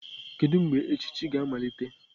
Kedu mgbe echichi ga-amalite?